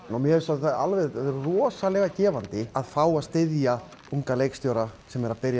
mér finnst rosalega gefandi að fá að styðja unga leikstjóra sem eru að